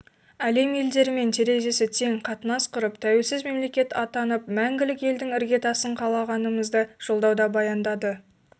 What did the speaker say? әлем елдерімен терезесі тең қатынас құрып тәуелсіз мемлекет атанып мәңгілік елдің іргетасын қалағанымызды жолдауда баяндады